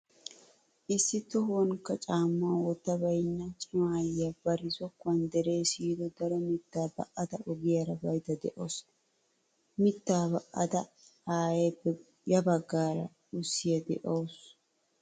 Issi tohuwaanikka caammaa wottabaynna, cima aayyiyaa bari zokkuwan deree siyido daro mittaa ba'ada ogiyaara baydda de'awusu. Mittaa ba'ida aayeeppe ya baggaara ussiya de'awusu.